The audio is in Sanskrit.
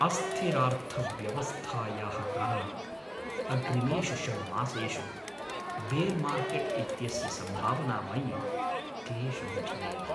अस्थिरार्थव्यवस्थायाः कारणात् अग्रिमेषु षड् मासेषु बेर् मार्केट् इत्यस्य सम्भावना मयि क्लेशं जनयति।